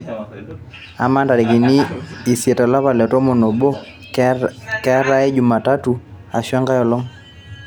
amaa ntarikini isiet olapa le tomon oobo keetae jumatatu ashu enkae olong'